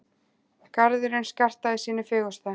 Garðurinn skartaði sínu fegursta.